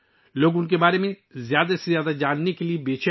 لوگ ان کے بارے میں زیادہ سے زیادہ جاننے کے خواہشمند ہیں